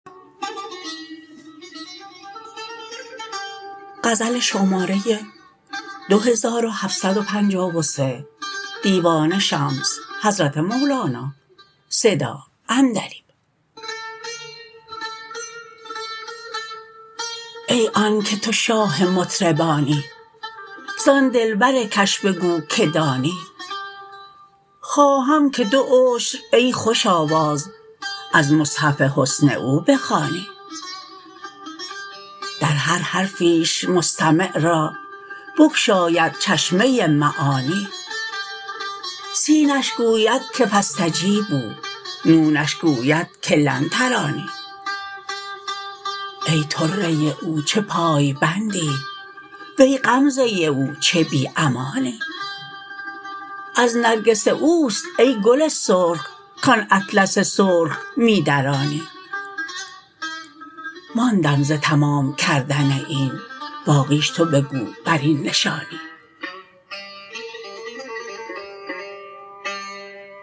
ای آنک تو شاه مطربانی زان دلبرکش بگو که دانی خواهم که دو عشر ای خوش آواز از مصحف حسن او بخوانی در هر حرفیش مستمع را بگشاید چشمه معانی سینش گوید که فاستجیبوا نونش گوید که لن ترانی ای طره او چه پای بندی وی غمزه او چه بی امانی از نرگس او است ای گل سرخ کان اطلس سرخ می درانی ماندم ز تمام کردن این باقیش تو بگو بر این نشانی